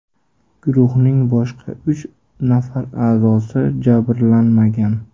Guruhning boshqa uch nafar a’zosi jabrlanmagan.